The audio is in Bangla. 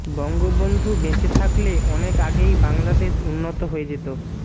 বঙ্গবন্ধু বেঁচে থাকলে অনেক আগেই বাংলাদেশ উন্নত হয়ে যেত